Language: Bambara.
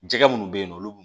Jɛgɛ minnu bɛ yen nɔ olu